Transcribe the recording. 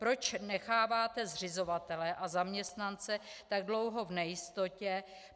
Proč necháváte zřizovatele a zaměstnance tak dlouho v nejistotě?